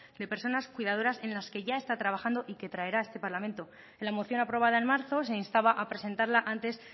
de personas cuidadoras en la que ya está trabajando y que traerá a este parlamento en la moción aprobada en marzo se instaba a presentarla antes